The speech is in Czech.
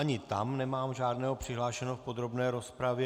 Ani tam nemám žádného přihlášeného v podrobné rozpravě.